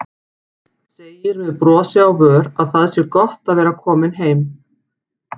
Segir með brosi á vör að það sé gott að vera komin heim.